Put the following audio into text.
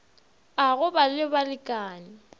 a go ba le balekane